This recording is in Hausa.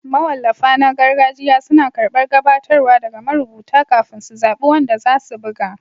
Mawallafa na gargajiya suna karɓar gabatarwa daga marubuta kafin su zaɓi wanda za su buga